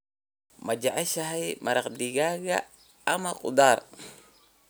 Ma jeceshahay maraq digaag ama khudaar?